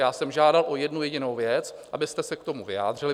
Já jsem žádal o jednu jedinou věc, abyste se k tomu vyjádřili.